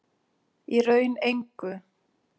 Í raun engu.